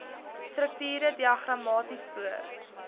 strukture diagramaties voor